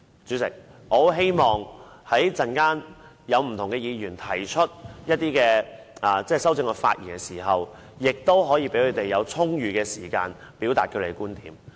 主席，我十分希望稍後不同議員就修正案發言時，可以得到充裕的時間，表達他們的觀點。